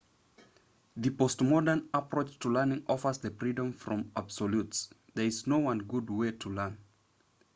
the postmodern approach to learning offers the freedom from absolutes there is no one good way to learn